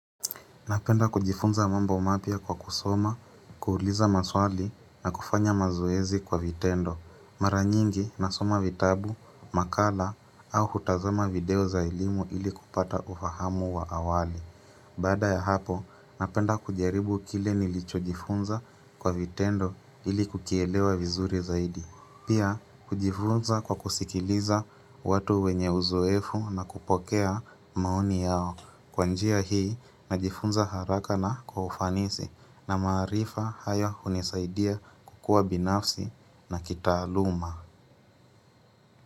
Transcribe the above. Napenda kujifunza mambo mapya kwa kusoma, kuuliza maswali na kufanya mazoezi kwa vitendo. Mara nyingi nasoma vitabu, makala au hutazama video za elimu ili kupata ufahamu wa awali. Baada ya hapo, napenda kujaribu kile nilicho jifunza kwa vitendo ili kukielewa vizuri zaidi. Pia, kujifunza kwa kusikiliza watu wenye uzoefu na kupokea maoni yao. Kwa njia hii najifunza haraka na kwa ufanisi na maarifa haya hunisaidia kukua binafsi na kitaaluma.